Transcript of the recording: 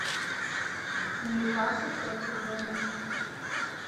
ньюкасл против бернли